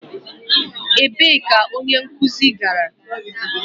Ebee ka onye nkuzi gara?